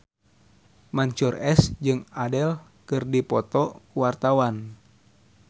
Mansyur S jeung Adele keur dipoto ku wartawan